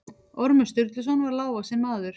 Ormur Sturluson var lágvaxinn maður.